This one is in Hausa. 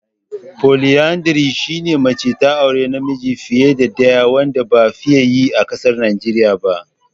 "Polyandry" shine mace ta auri namiji fiye da ɗaya wanda ba a fiye yi a ƙasar Najeriya ba.